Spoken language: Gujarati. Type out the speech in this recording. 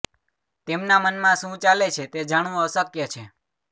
તેમના મનમાં શુ ચાલે છે તે જાણવું અશક્ય છે